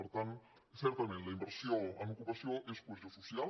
per tant certament la inversió en ocupació és cohesió social